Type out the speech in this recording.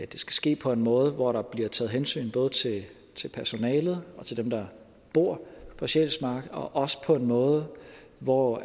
det skal ske på en måde hvor der både bliver taget hensyn til personalet og til dem der bor på sjælsmark og også på en måde hvor